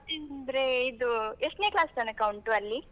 ಮತ್ತೆ ಏನಂದ್ರೆ ಇದು ಎಸ್ಟ್ನೇ class ತನಕ ಉಂಟು ಅಲ್ಲಿ?